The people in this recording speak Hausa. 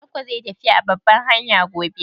Tanko zai yi tafiya a kan babbar hanya gobe?